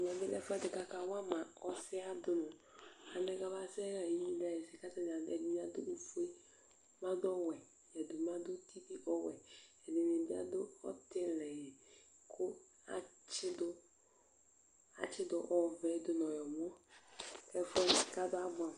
Ɛmɛ bi lɛ ɛfʋɛdi kʋ aka wama ɔsɛɣa dìní Alɛ bʋakʋ abaɣa inʋmu sɛ kʋ ɛdiní adʋ ɔfʋe, ɛdiní adu ɔwɛ, ɛdiní bi adu ʋti ɔwɛ, ɛdiní bi adu ɔtili kʋ atsi du ɔvɛ dʋnʋ ɔwlɔmɔ